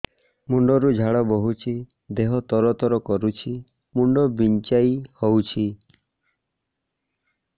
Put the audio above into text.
ମୁଣ୍ଡ ରୁ ଝାଳ ବହୁଛି ଦେହ ତର ତର କରୁଛି ମୁଣ୍ଡ ବିଞ୍ଛାଇ ହଉଛି